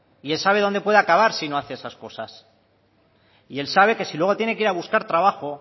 y él sabe dónde puede acabar si no hace esas cosas y él sabe que si luego tiene que ir a buscar trabajo